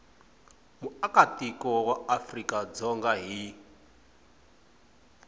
muakatiko wa afrika dzonga hi